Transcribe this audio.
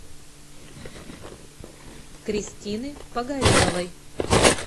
кристины погореловой